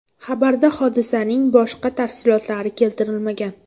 Xabarda hodisaning boshqa tafsilotlari keltirilmagan.